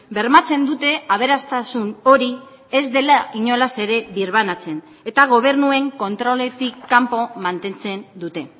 bermatzen dute aberastasun hori ez dela inolaz ere birbanatzen eta gobernuen kontroletik kanpo mantentzen dute